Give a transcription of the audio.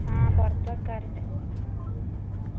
ആ പുറത്ത് വെക്കാർണ്ട്